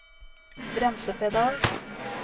bremsepedal